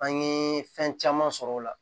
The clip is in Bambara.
An ye fɛn caman sɔrɔ o la